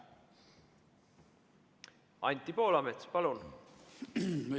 Anti Poolamets, palun!